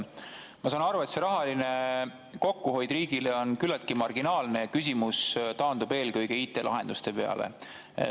Ma saan aru, et see riigi rahaline kokkuhoid on küllaltki marginaalne, küsimus taandub eelkõige IT‑lahenduste peale.